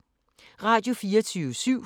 Radio24syv